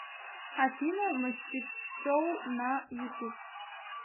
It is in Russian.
афина мастиксоул на ютуб